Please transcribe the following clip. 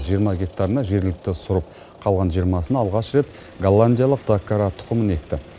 жиырма гектарына жергілікті сұрып қалған жиырмасына алғаш рет голландиялық доккара тұқымын екті